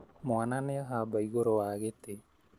Mwana nĩahamba igũrũwa gĩtĩ